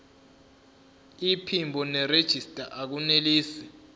iphimbo nerejista akunelisi